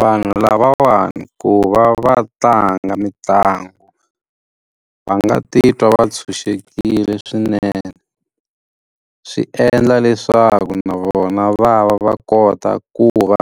Vanhu lavawani ku va va tlanga mitlangu, va nga titwa va ntshunxekile swinene. Swi endla leswaku na vona va va kota ku va